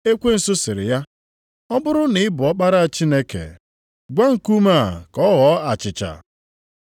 Ekwensu sịrị ya, “Ọ bụrụ na ị bụ Ọkpara Chineke, gwa nkume a ka ọ ghọọ achịcha.”